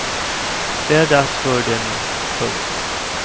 Det är dags för det nu. punkt